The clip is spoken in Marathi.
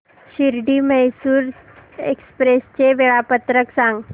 शिर्डी मैसूर एक्स्प्रेस चे वेळापत्रक सांग